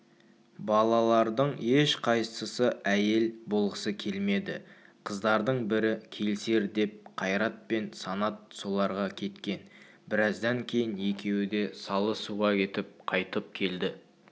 балалардың ешқайсысы әйел болғысы келмеді қыздардың бірі келісер деп қайрат пен санат соларға кеткен біраздан кейін екеуі де салы суға кетіп қайтып келді